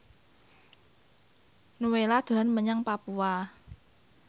Nowela dolan menyang Papua